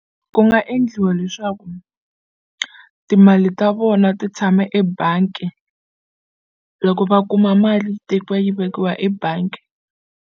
Ku nga endliwa leswaku timali ta vona ti tshama ebangi loko va kuma mali tekiwa yi vekiwa ebangi.